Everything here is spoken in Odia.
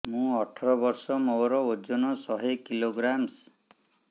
ମୁଁ ଅଠର ବର୍ଷ ମୋର ଓଜନ ଶହ କିଲୋଗ୍ରାମସ